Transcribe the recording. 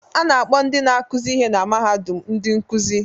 A na-akpọ ndị na-akụzi ihe na mahadum ndị nkuzi